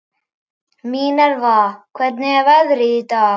Minerva, hvernig er veðrið í dag?